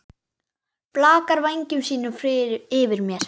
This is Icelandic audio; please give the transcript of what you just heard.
Blakar vængjum sínum yfir mér.